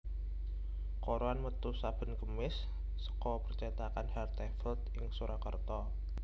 Koran metu saben Kemis seka percétakan Hartevelt ing Surakarta